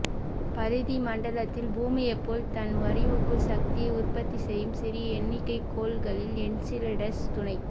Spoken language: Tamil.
பரிதி மண்டலத்தில் பூமியைப் போல் தன் வடிவுக்குள் சக்தியை உற்பத்தி செய்யும் சிறிய எண்ணிக்கைக் கோள்களில் என்சிலாடஸ் துணைக்